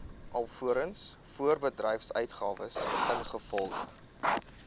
alvorens voorbedryfsuitgawes ingevolge